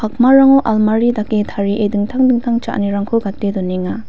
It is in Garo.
almari dake tarie dingtang dingtang cha·anirangko gate donenga.